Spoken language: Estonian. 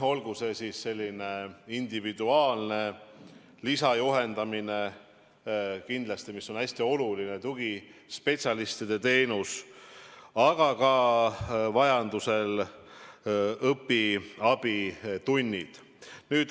Olgu see siis individuaalne lisajuhendamine või midagi muud, kindlasti on hästi oluline tugispetsialistide teenus, aga vajaduse korral tehakse ka õpiabitunde.